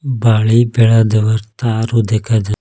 বাড়ি বেড়া দেওয়ার তারও দেখা যা--